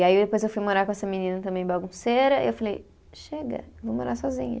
E aí depois eu fui morar com essa menina também bagunceira, e eu falei, chega, eu vou morar sozinha.